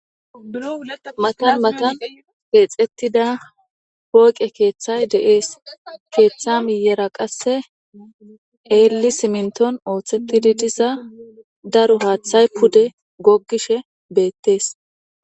matan matan keexettida pooqe keeththay de7ees keeththa miyera qasse eelli siminton ooththettidi disa daro haaththay pude goggishe beettees